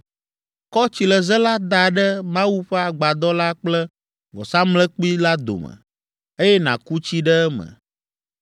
Kɔ tsileze la da ɖe Mawu ƒe agbadɔ la kple vɔsamlekpui la dome, eye nàku tsi ɖe eme.